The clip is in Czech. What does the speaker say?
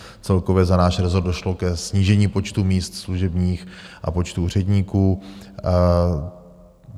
Celkově za náš rezort došlo ke snížení počtu míst služebních a počtu úředníků.